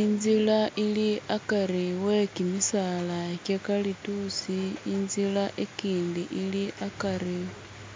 Inzira ili akari we kimisaala kyaikalituusi inzira ikindi ili akari